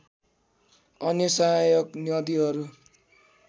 अन्य सहायक नदीहरू